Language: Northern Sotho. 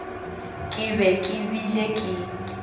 ke be ke bile ke